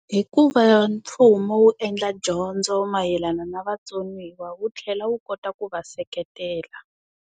Hi ku va mfumo wu endla dyondzo mayelana na vatsoniwa wu tlhela wu kota ku va seketela.